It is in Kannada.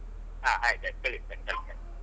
ಹಾ ಆಯ್ತ್ ಆಯ್ತ್ ಕಳಿಸ್ತೇನೆ ಕಳಿಸ್ತೇನೆ.